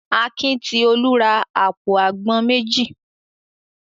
Akin ti Olú ra àpò àgbọn méjì.